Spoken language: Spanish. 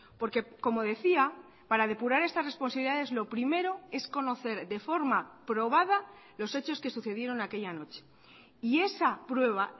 porque como decía para depurar estas responsabilidades lo primero es conocer de forma probada los hechos que sucedieron aquella noche y esa prueba